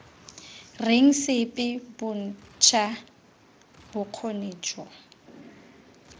reng sepe bontsha bokgoni jo